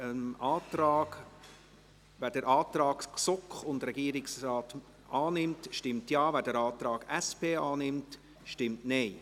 Wer den Antrag GSoK und Regierungsrat annimmt, stimmt Ja, wer den Antrag SP annimmt, stimmt Nein.